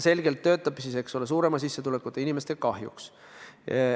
See töötab selgelt suurema sissetulekuga inimeste kahjuks.